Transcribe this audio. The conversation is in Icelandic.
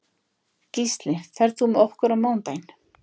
Gísli, ferð þú með okkur á mánudaginn?